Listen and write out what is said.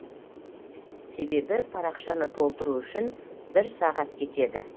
себебі парақшаны толтыру үшін бір сағат кетеді